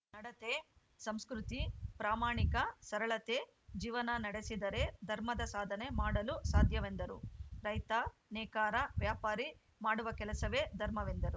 ನಡತೆ ಸಂಸ್ಕೃತಿ ಪ್ರಾಮಾಣಿಕ ಸರಳತೆ ಜೀವನ ನಡೆಸಿದರೆ ಧರ್ಮದ ಸಾಧನೆ ಮಾಡಲು ಸಾಧ್ಯವೆಂದರು ರೈತ ನೇಕಾರ ವ್ಯಾಪಾರಿ ಮಾಡುವ ಕೆಲಸವೇ ಧರ್ಮವೆಂದರು